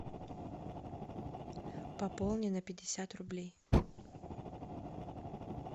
пополни на пятьдесят рублей